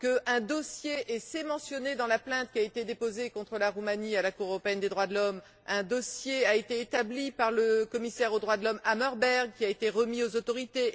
Un dossier, et c'est mentionné dans la plainte qui a été déposée contre la Roumanie à la Cour européenne des droits de l'homme, a été établi par le commissaire aux droits de l'homme, M. Hammarberg, et a été remis aux autorités.